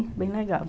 É bem legal.